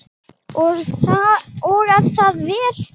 Og er það vel.